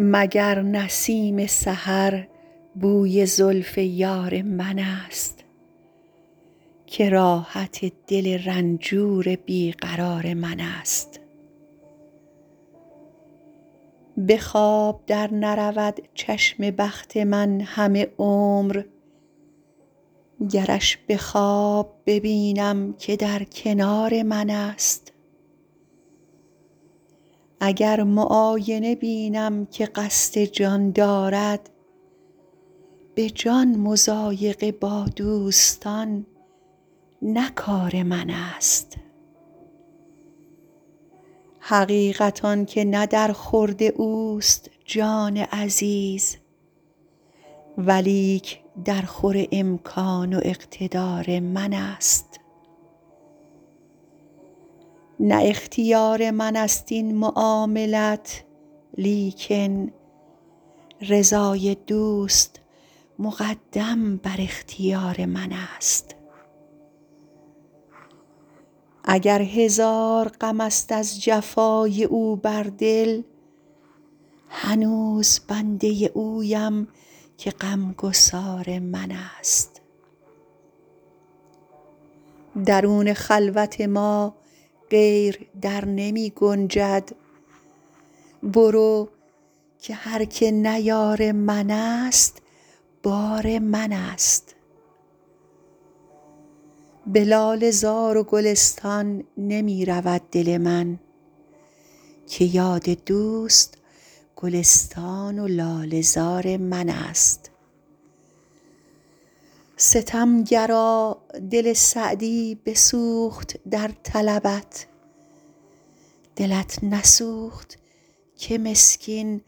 مگر نسیم سحر بوی زلف یار منست که راحت دل رنجور بی قرار منست به خواب در نرود چشم بخت من همه عمر گرش به خواب ببینم که در کنار منست اگر معاینه بینم که قصد جان دارد به جان مضایقه با دوستان نه کار منست حقیقت آن که نه در خورد اوست جان عزیز ولیک درخور امکان و اقتدار منست نه اختیار منست این معاملت لیکن رضای دوست مقدم بر اختیار منست اگر هزار غمست از جفای او بر دل هنوز بنده اویم که غمگسار منست درون خلوت ما غیر در نمی گنجد برو که هر که نه یار منست بار منست به لاله زار و گلستان نمی رود دل من که یاد دوست گلستان و لاله زار منست ستمگرا دل سعدی بسوخت در طلبت دلت نسوخت که مسکین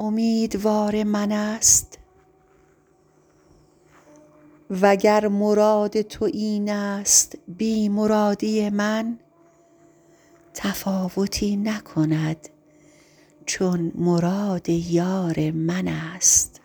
امیدوار منست و گر مراد تو اینست بی مرادی من تفاوتی نکند چون مراد یار منست